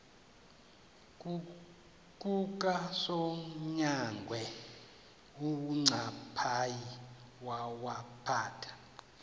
kukasonyangwe uncaphayi wawaphatha